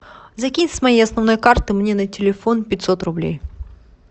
закинь с моей основной карты мне на телефон пятьсот рублей